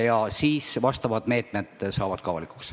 Ja siis saavad vastavad meetmed ka avalikuks.